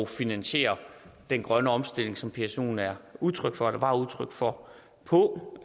finansiere den grønne omstilling som psoen er udtryk for eller var udtryk for på